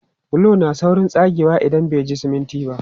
Bulo na saurin tsagewa idan bai ji siminti ba.